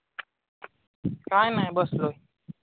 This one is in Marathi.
काही नाही बसलोय.